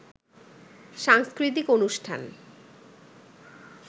সাংস্কৃতিক অনুষ্ঠান